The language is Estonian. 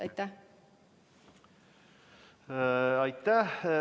Aitäh!